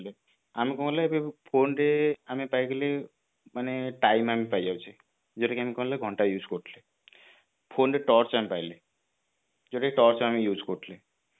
ଆମେ କଣ କଲେ phone ରେ ଆମେ ପାଇଗଲେ ମାନେ time ଆମେ ପାଇ ଯାଉଛେ ଯୋଉଟା କି ଆମେ କଣ ନା ଘଣ୍ଟା use କରୁଥିଲେ phone re torch ଆମେ ପାଇଲେ ଯୋଉଟା କି torch ଆମେ use କରୁଥିଲେ